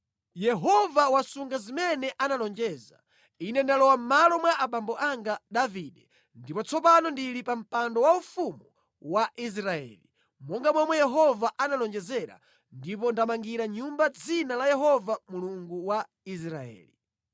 “Yehova wasunga zimene analonjeza. Ine ndalowa mʼmalo mwa abambo anga Davide, ndipo tsopano ndili pa mpando waufumu wa Israeli, monga momwe Yehova analonjezera, ndipo ndamangira nyumba Dzina la Yehova Mulungu wa Israeli.